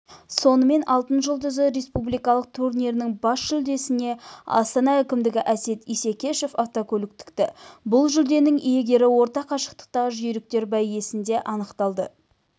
сонымен алтын жұлдызы республикалық турнирінің бас жүлдесіне астана әкімі әсет исекешев автокөлік тікті бұл жүлденің иегері орта қашықтықтағы жүйріктер бәйгесінде анықталды